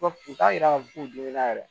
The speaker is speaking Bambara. U t'a yira k'a fɔ k'u dimina yɛrɛ